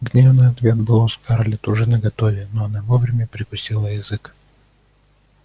гневный ответ был у скарлетт уже наготове но она вовремя прикусила язык